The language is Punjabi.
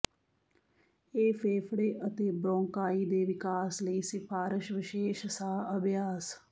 ਇਹ ਫੇਫੜੇ ਅਤੇ ਬ੍ਰੌੰਕਾਈ ਦੇ ਵਿਕਾਸ ਲਈ ਸਿਫਾਰਸ਼ ਵਿਸ਼ੇਸ਼ ਸਾਹ ਅਭਿਆਸ